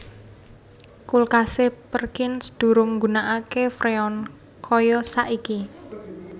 Kulkase Perkins durung nggunakake Freon kaya saiki